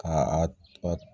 Ka a